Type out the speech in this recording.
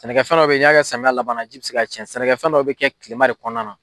Sɛnɛkɛfɛn dɔ bɛ yen samiya labana ji bɛ se k'a cɛn, sɛnɛkɛfɛnw dɔw bɛ kɛ tilema kɔnɔna na.